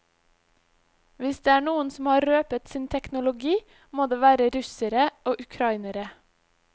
Hvis det er noen som har røpet sin teknologi, må det være russere og ukrainere.